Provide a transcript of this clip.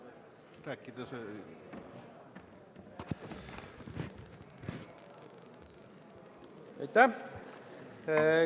Aitäh!